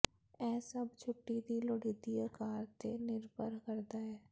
ਇਹ ਸਭ ਛੁੱਟੀ ਦੀ ਲੋੜੀਦੀ ਅਕਾਰ ਤੇ ਨਿਰਭਰ ਕਰਦਾ ਹੈ